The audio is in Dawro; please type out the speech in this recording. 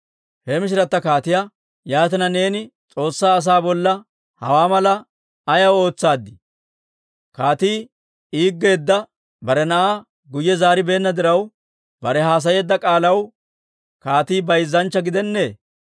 He mishirata kaatiyaa, «Yaatina, neeni S'oossaa asaa bolla hawaa malaa ayaw ootsaaddii? Kaatii yedersseedda bare na'aa guyye zaaribeenna diraw, bare haasayeedda k'aalaw kaatii bayzzanchcha gidennee?